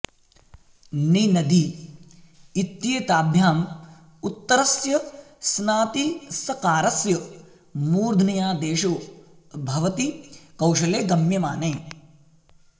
नि नदी इत्येताभ्याम् उत्तरस्य स्नातिसकारस्य मूर्ध्न्यादेशो भवति कौशले गम्यमाने